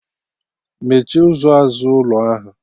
Mechie ụzọ azụ ụlọ ahụ!